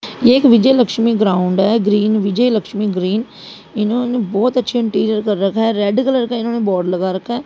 ये एक विजय लक्ष्मी ग्राउंड है ग्रीन विजय लक्ष्मी ग्रीन इन्होने बहोत अच्छा इंटीरियर कर रखा है रेड कलर इन्होंने बोर्ड लगा रखा है।